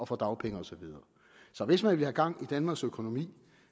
får dagpenge og så videre så hvis man vil have gang i danmarks økonomi